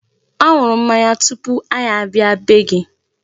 Ọ ṅụrụ mmanya tupu anyị abịa bee gị.